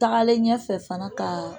Tagalen ɲɛfɛ fana ka